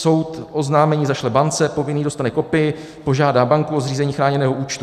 Soud oznámení zašle bance, povinný dostane kopii, požádá banku o zřízení chráněného účtu.